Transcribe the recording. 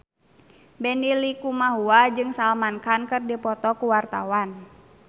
Benny Likumahua jeung Salman Khan keur dipoto ku wartawan